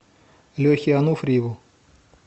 лехе ануфриеву